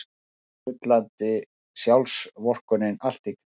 Sullandi sjálfsvorkunnin allt í kring.